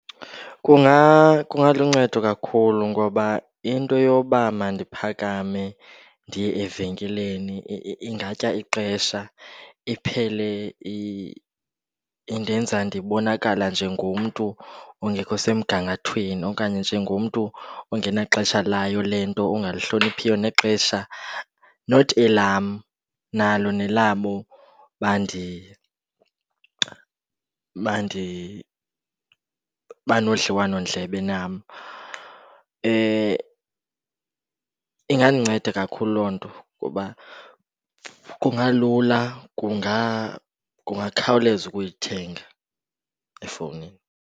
Kungaluncedo kakhulu. Ngoba into yoba mandiphakame ndiye evenkileni ingatya ixesha, iphele indenza ndibonakala njengomntu ongekho semgangathweni okanye njengomntu ongenaxesha layo le nto, ongalihloniphiyo nexesha not elam nalo nelabo banodliwanondlebe nam. Ingandinceda kakhulu loo nto kuba kungalula, kungakhawuleza ukuyithenga efowunini.